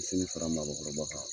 Selifana makɔnɔ yɔrɔbɔ tan